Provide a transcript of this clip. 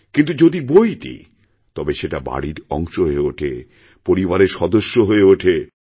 কিন্তু যদি বই দিই তবে সেটা বাড়ির অংশ হয়ে ওঠে পরিবারের সদস্য হয়েওঠে